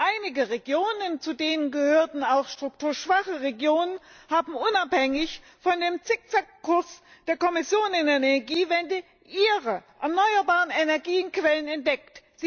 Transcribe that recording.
Einige Regionen zu denen gehören auch strukturschwache Regionen haben unabhängig von dem Zickzack Kurs der Kommission in der Energiewende ihre erneuerbaren Energiequellen entdeckt.